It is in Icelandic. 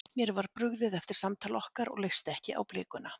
Mér var brugðið eftir samtal okkar og leist ekki á blikuna.